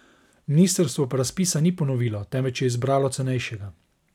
Ministrstvo pa razpisa ni ponovilo, temveč je izbralo cenejšega.